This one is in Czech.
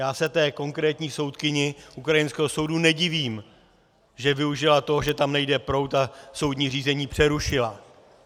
Já se té konkrétní soudkyni ukrajinského soudu nedivím, že využila toho, že tam nejde proud, a soudní řízení přerušila.